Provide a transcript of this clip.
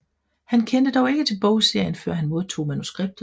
Han kendte dog ikke til bogserien før han modtog manuskriptet